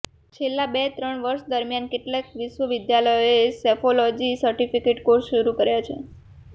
છેલ્લાં બે ત્રણ વર્ષ દરમિયાન કેટલાક વિશ્વવિદ્યાલયોએ સેફોલોજીમાં સર્ટિફિકેટ કોર્સ શરૃ કર્યા છે